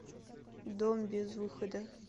дом без выхода